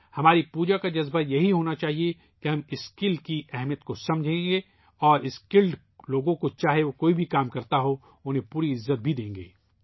ہماری پوجا کا جذبہ یہی ہونا چاہیئے کہ ہم ہنر مندی کی اہمیت کو سمجھیں ، ہنر مند لوگوں کو ، چاہے وہ کوئی بھی کام کرتا ہو ، ان کا پورا احترام کیا جائے گا